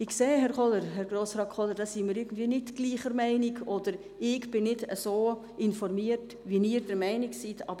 Ich sehe, dass Grossrat Kohler und ich diesbezüglich nicht gleicher Meinung sind oder dass ich nicht so informiert bin, wie Grossrat Kohler der Meinung ist.